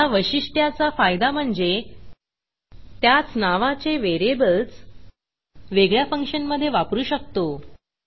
ह्या वैशिष्ट्याचा फायदा म्हणजे त्याच नावाचे व्हेरिएबल्स वेगळ्या फंक्शनमधे वापरू शकतो